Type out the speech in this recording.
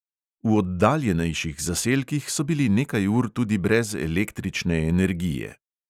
V oddaljenejših zaselkih so bili nekaj ur tudi brez električne energije.